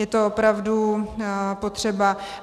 Je to opravdu potřeba.